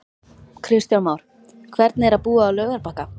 Kristján Már: Hvernig er að búa á Laugarbakka?